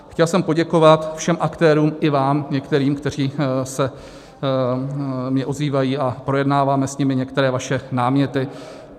Chtěl jsem poděkovat všem aktérům i vám některým, kteří se mi ozývají, a projednáváme s nimi některé vaše náměty.